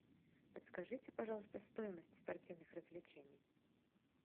подскажите пожалуйста стоимость спортивных развлечений